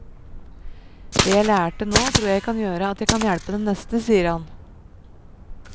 Det jeg lærte nå tror jeg kan gjøre at jeg kan hjelpe den neste, sier han.